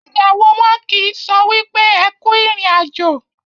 ìyàwó wọn kì so wípé ẹkú irin àjò.